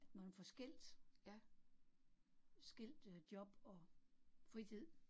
Man får skilt, skilt øh job og fritid